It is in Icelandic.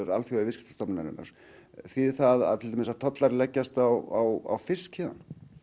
Alþjóða viðskiptastofnunarinnar þýðir það að tollar leggjast á fisk héðan